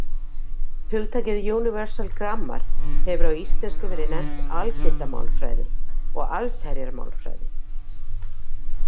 Hugtakið universal grammar hefur á íslensku verið nefnt algildamálfræði og allsherjarmálfræði.